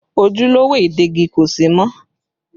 Ojúlówó ìdegi kò sí mọ́